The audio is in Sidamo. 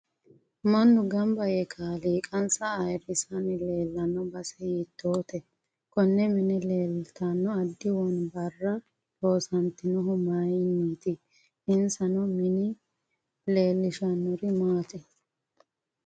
Mannu ganba yee kaaliiqansa ayiirisanni leelanno base hiitoote konne mine leeltanno addi wonbarra loosantinohu mayiiniti insa noo mini leelishanori maati